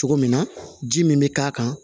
Cogo min na ji min bɛ k'a kan